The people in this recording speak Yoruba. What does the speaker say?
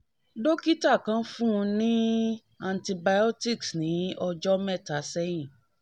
dókítà kan fún un ní antibiotics ni ojo mẹ́ta sẹ́hìn